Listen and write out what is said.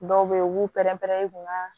Dɔw be yen u b'u pɛrɛn-pɛrɛn u kun ka